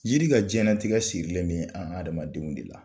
Jiri ka diɲɛnatigɛ sirilen bɛ an adamadenw de la